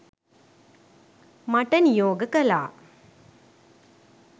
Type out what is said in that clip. මට නියෝග කළා